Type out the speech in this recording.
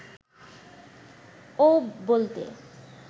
অউব বলতে